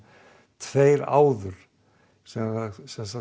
tveir áður sem hafa